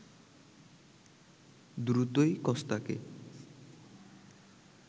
দ্রুতই কস্তাকে